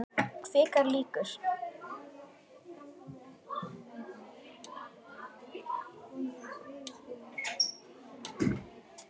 Kvikar líkur.